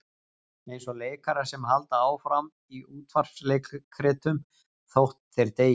Eins og leikarar sem halda áfram í útvarpsleikritum þótt þeir deyi.